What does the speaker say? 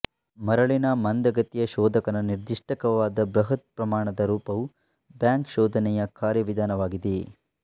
ಮರಳಿನ ಮಂದಗತಿಯ ಶೋಧಕದ ನಿರ್ದಿಷ್ಟವಾದ ಬೃಹತ್ ಪ್ರಮಾಣದ ರೂಪವು ಬ್ಯಾಂಕ್ ಶೋಧನೆಯ ಕಾರ್ಯವಿಧಾನವಾಗಿದೆ